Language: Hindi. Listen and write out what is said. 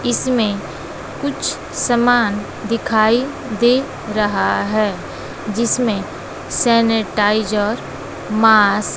इसमें कुछ सामान दिखाई दे रहा है जिसमें सेनेटाइजर मास्क --